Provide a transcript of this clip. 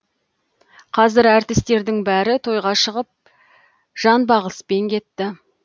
қазір әртістердің бәрі тойға шығып жанбағыспен кетті